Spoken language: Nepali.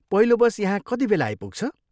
पहिलो बस यहाँ कतिबेला आइपुग्छ?